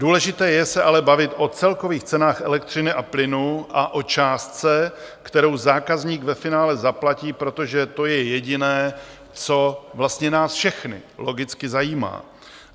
Důležité je se ale bavit o celkových cenách elektřiny a plynu a o částce, kterou zákazník ve finále zaplatí, protože to je jediné, co vlastně nás všechny logicky zajímá.